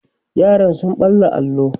yaran sun ɓalla allo